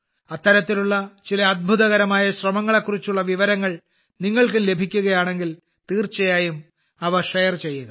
അത്തരത്തിലുള്ള ചില അദ്ഭുതകരമായ ശ്രമങ്ങളെകുറിച്ചുള്ള വിവരങ്ങൾ നിങ്ങൾക്കും ലഭിക്കുകയാണെങ്കിൽ തീർച്ചയായും അവ ഷെയർ ചെയ്യുക